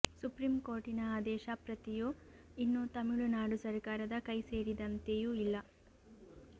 ಸುಪ್ರೀಂಕೋರ್ಟಿನ ಆದೇಶ ಪ್ರತಿಯೂ ಇನ್ನೂ ತಮಿಳುನಾಡು ಸರಕಾರದ ಕೈ ಸೇರಿದಂತೆಯೂ ಇಲ್ಲ